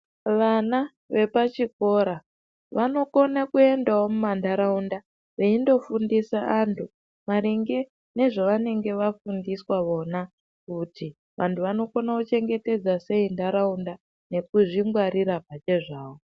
Vana vepachikora vanokona kuendawo muntaraunda veindofindisa antu maringe nezvavanenge vafundiswa vona kuti vantu vanokona kuchengetedza sei ntaraunda nekuzvingwarira pachezvavo.